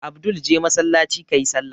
Abdul je masallaci ka yi sallah!